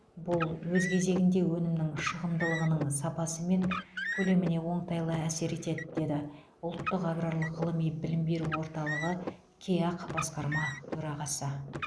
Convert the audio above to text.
бұл өз кезегінде өнімнің шығымдылығының сапасы мен көлеміне оңтайлы әсер етеді деді ұлттық аграрлық ғылыми білім беру орталығы кеақ басқарма төрағасы